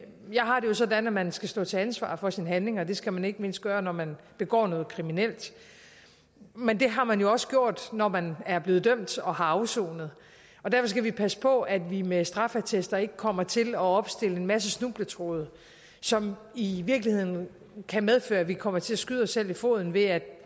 jeg har det jo sådan at man skal stå til ansvar for sine handlinger det skal man ikke mindst gøre når man begår noget kriminelt men det har man jo også gjort når man er blevet dømt og har afsonet derfor skal vi passe på at vi med straffeattester ikke kommer til at opstille en masse snubletråde som i virkeligheden kan medføre at vi kommer til at skyde os selv i foden ved at